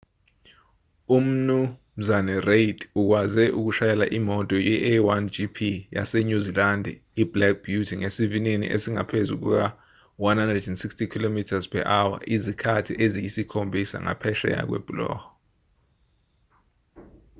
umnu reid ukwaze ukushayela imoto ye-a1gp yasenyuzilandi iblack beauty ngesivinini esingaphezu kuka-160km/h izikhathi eziyisikhombisa ngaphesheya kwebhuloho